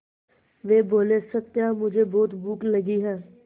वे बोले सत्या मुझे बहुत भूख लगी है